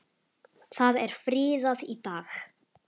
Það er friðað í dag.